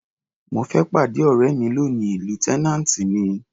Mo fẹ́ pàdé ọ̀rẹ́ mi lóni, lieutenant ni.